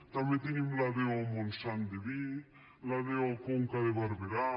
també tenim la do montsant de vi la do conca de barberà